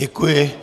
Děkuji.